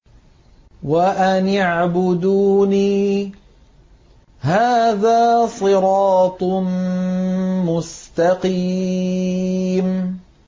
وَأَنِ اعْبُدُونِي ۚ هَٰذَا صِرَاطٌ مُّسْتَقِيمٌ